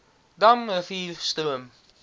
dam rivier stroom